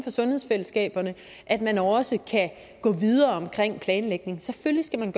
sundhedsfællesskaberne at man også kan gå videre omkring planlægning selvfølgelig skal man